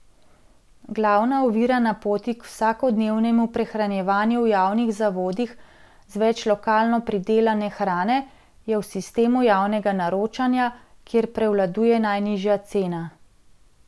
Glavna ovira na poti k vsakodnevnemu prehranjevanju v javnih zavodih z več lokalno pridelane hrane je v sistemu javnega naročanja, kjer prevladuje najnižja cena.